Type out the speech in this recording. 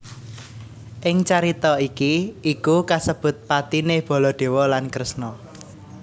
Ing carita iki iku kasebut patine Baladewa lan Kresna